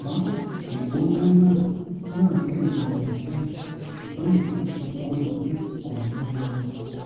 àmọ ìgbóná náà náà le lọlẹ díẹ ṣùgbọn èyí tó ṣe kókó ni pé kò nih lọ